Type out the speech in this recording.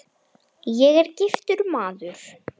Ég er giftur maður.